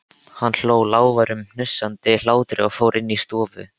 Hann hló, lágværum, hnussandi hlátri og fór inn í stofu.